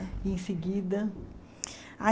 E em seguida? Ai